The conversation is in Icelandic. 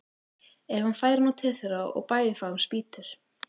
Ef hann færi nú til þeirra og bæði þá um spýtur!